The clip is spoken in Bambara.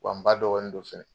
Wa n ba dɔgɔnin don fɛnɛ